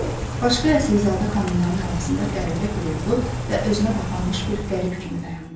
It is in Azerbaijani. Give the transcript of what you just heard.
Başqa əsilzadə xanımların arasında qəribə qürurlu və özünə qapanmış bir qərib kimi dayanmışdı.